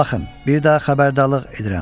Baxın, bir daha xəbərdarlıq edirəm.